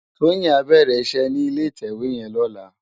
Toyin á bèrè iṣè ni ilé itèwé yèn lòlá